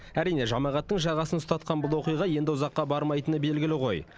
әрине жамағаттың жағасын ұстатқан бұл оқиға енді ұзаққа бармайтыны белгілі ғой